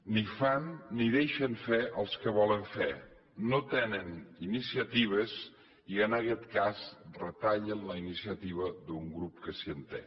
ni fan ni deixen fer als que volen fer no tenen iniciatives i en aquest cas retallen la iniciativa d’un grup que sí que en té